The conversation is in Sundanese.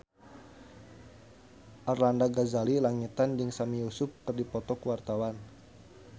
Arlanda Ghazali Langitan jeung Sami Yusuf keur dipoto ku wartawan